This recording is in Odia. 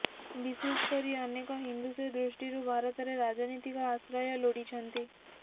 ବିଶେଷକରି ଅନେକ ହିନ୍ଦୁ ସେ ଦୃଷ୍ଟିରୁ ଭାରତରେ ରାଜନୀତିକ ଆଶ୍ରୟ ଲୋଡ଼ିଛନ୍ତି